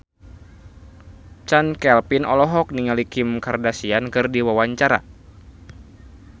Chand Kelvin olohok ningali Kim Kardashian keur diwawancara